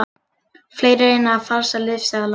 Fleiri reyna að falsa lyfseðla